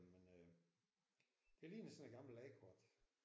Men øh det ligner sådan et gammelt landkort